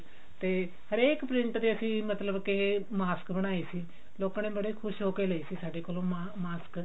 ਤੇ ਹਰੇਕ print ਦੇ ਅਸੀਂ ਮਤਲਬ ਕਿ ਮਾਸਕ ਬਣਾਏ ਸੀ ਲੋਕਾਂ ਨੇ ਬੜੇ ਖੁਸ਼ ਹੋ ਕਿ ਲਏ ਸੀ ਸਾਡੇ ਕੋਲੋਂ mask